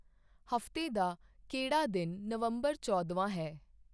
ਹਫ਼ਤੇ ਦਾ ਕਿਹੜਾ ਦਿਨ ਨਵੰਬਰ ਚੌਦ੍ਹਵਾਂ ਹੈ